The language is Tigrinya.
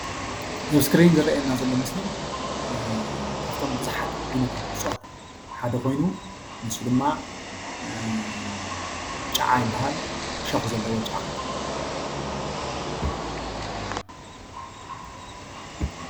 እቲ ኣብ ስክሪን ዝረአየና ምስሊ ካብቶም ብዙሓት ዓይነታት እፅዋት ሓደ ኮይኑ ንሱ ድማ ጫዓ ይብሃል ዕሾኽ ዘለዎ ጨዓ